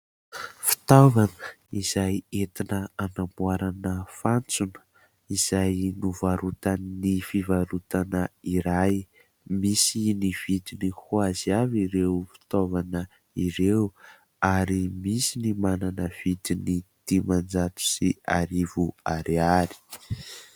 Fitavana izay entina anamboarana fantsona izay novarotan'ny fivarotana iray, misy ny vidiny ho azy avy ireo fitaovana ireo ary misy ny manana vidiny dimanjato sy arivo ariary.